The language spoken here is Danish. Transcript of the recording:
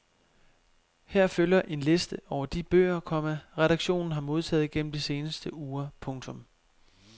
Her følger en liste over de bøger, komma redaktionen har modtaget gennem de seneste uger. punktum